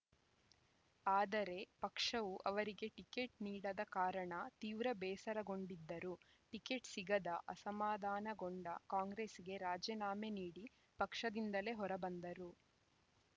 ಆದರೆ ಪಕ್ಷವು ಅವರಿಗೆ ಟಿಕೆಟ್‌ ನೀಡದ ಕಾರಣ ತೀವ್ರ ಬೇಸರಗೊಂಡಿದ್ದರು ಟಿಕೆಟ್‌ ಸಿಗದ ಅಸಮಾಧಾನಗೊಂಡು ಕಾಂಗ್ರೆಸ್‌ಗೆ ರಾಜೀನಾಮೆ ನೀಡಿ ಪಕ್ಷದಿಂದಲೇ ಹೊರಬಂದರು